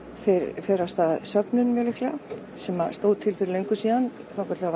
fer af stað söfnun sem stóð til fyrir löngu þangað til